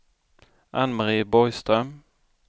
Ann-Mari Borgström